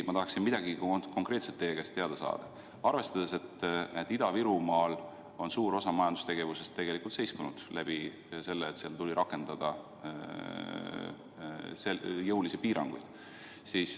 Ma tahaksin midagi konkreetset teie käest teada saada, arvestades, et Ida-Virumaal on suur osa majandustegevusest seiskunud, kuna seal tuleb rakendada jõulisi piiranguid.